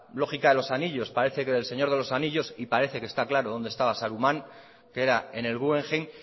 lógica de los anillos para que de el señor de los anillos y parece que está claro donde estaba saruman que era en el guggenheim